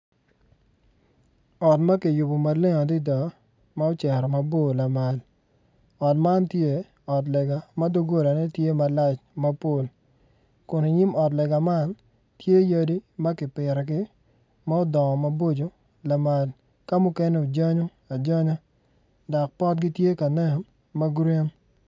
Ot makiyubo ma bor adada ma ocero maboro lamal, ot man tye ot lega ma dogolane tye malac mapol kun i nyim ot lega man tye yadi makipitogi ma odongo maboco lamal ka mukene ojanyo ajanya dok potgi tye kanen magurin,